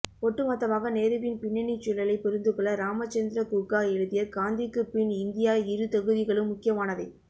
ஒட்டுமொத்தமாக நேருவின் பின்னணிச்சூழலைப் புரிந்துகொள்ள ராமச்சந்திர குகா எழுதிய காந்திக்குப்பின் இந்தியா இரு தொகுதிகளும் முக்கியமானவை